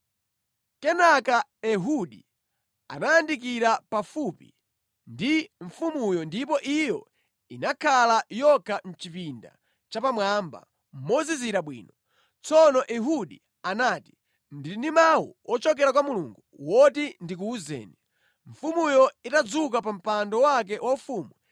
Kenaka Ehudi anayandikira pafupi ndi mfumuyo, ndipo iyo inakhala yokha mʼchipinda chapamwamba, mozizira bwino. Tsono Ehudi anati, “Ndili ndi mawu ochokera kwa Mulungu woti ndikuwuzeni.” Mfumuyo itadzuka pa mpando wake waufumu,